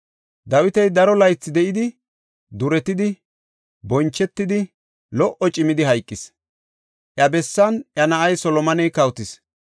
Dawiti daro laythi de7idi, duretidi, bonchetidi, lo77o cimidi hayqis. Iya bessan iya na7ay Solomoney kawotis.